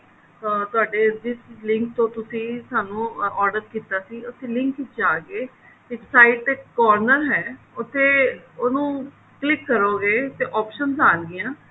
ਅਹ ਤੁਹਾਡੇ ਜਿਸ link ਤੋਂ ਤੁਸੀਂ ਸਾਨੂੰ order ਕੀਤਾ ਸੀ link ਵਿੱਚ ਜਾਕੇ ਇਸ side ਤੇ corner ਹੈ ਉੱਥੇ ਉਹਨੂੰ click ਕਰੋਗੇ ਤੇ options ਆਨਗਿਆ